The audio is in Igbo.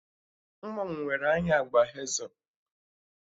Nwa m nwere anya agba hezel